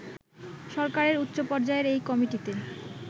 সরকারের উচ্চপর্যায়ের এই কমিটিতে